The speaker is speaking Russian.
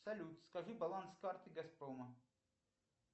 салют скажи баланс карты газпрома